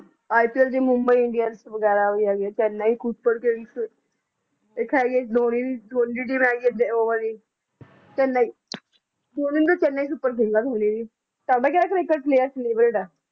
ipl ਦੇ Mumbai Indians ਵਗੈਰਾ ਵੀ ਹੈਗੇ ਚੇੱਨਈ ਸੂਰਪ ਕਿੰਗਜ਼ ਇੱਕ ਹੈਗੀ ਧੋਨੀ ਦੀ ਟੀਮ ਹੈਗੀ ਆ ਉਹ ਵਾਲੀ ਚੈਨ੍ਨਈ ਧੋਨੀ ਦੀ ਚੈਨ੍ਨਈ ਸੁਪਰ ਕਿੰਗਜ਼ ਹੈ ਧੋਨੀ ਦੀ ਸਾਢੇ ਗਿਆਰਾਂ ਸੌ ਏਕੜ